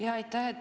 Jaa, aitäh!